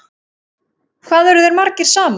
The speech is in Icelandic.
Hvað eru þeir margir saman?